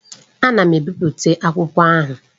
Ana m ebipụta akwụkwọ ahụ.